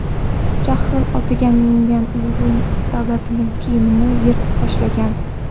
Jahl otiga mingan Uyg‘un Davlatning kiyimini yirtib tashlagan.